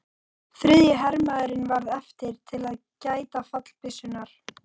Þriðji hermaðurinn varð eftir til að gæta fallbyssunnar.